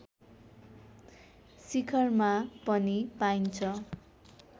शिखरमा पनि पाइन्छ